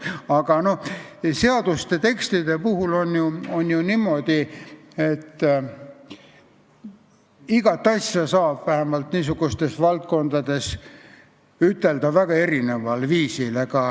Aga seaduste tekstidega on ju niimoodi, et iga asja saab vähemalt niisugustes valdkondades ütelda väga erineval viisil.